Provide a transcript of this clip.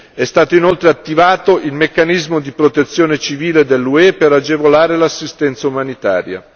È stato inoltre attivato il meccanismo di protezione civile dell'UE per agevolare l'assistenza umanitaria.